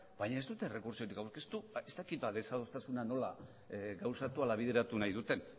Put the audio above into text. baina ez dute errekurtsorik aurkeztu ez dakit desadostasuna nola gauzatu ala bideratu nahi duten